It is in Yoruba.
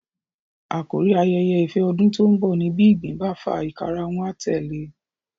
Àkórí ayẹyẹ ìfẹ ọdún tó ń bọ̀ ní bí ìgbín bá fà ìkarahun a tẹ̀le e